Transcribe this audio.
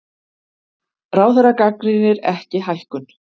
Ráðherra gagnrýnir ekki hækkun